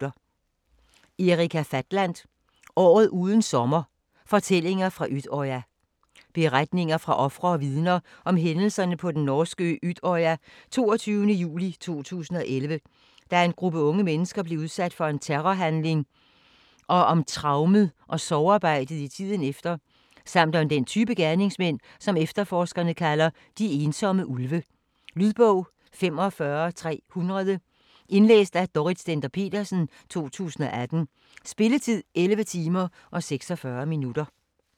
Fatland, Erika: Året uden sommer: fortællinger fra Utøya Beretninger fra ofre og vidner om hændelserne på den norske ø Utøya den 22. juli 2011, da en gruppe unge mennesker blev udsat for en terrorhandling, og om traumet og sorgarbejdet i tiden efter, samt om den type gerningsmænd som efterforskerne kalder "de ensomme ulve". Lydbog 45300 Indlæst af Dorrit Stender-Petersen, 2018. Spilletid: 11 timer, 46 minutter.